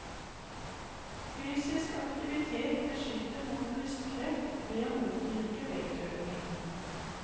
Fysisk aktivitet beskytter mot brystkreft ved å motvirke vektøkning.